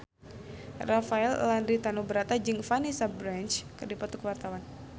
Rafael Landry Tanubrata jeung Vanessa Branch keur dipoto ku wartawan